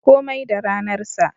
Komai da ranar sa.